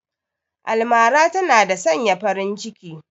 Almara tana da sanya farin ciki